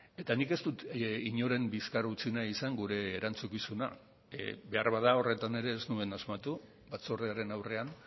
eta nik ez dut inoren bizkar utzi nahi izan gure erantzukizuna beharbada horretan ere ez nuen asmatu batzordearen aurrean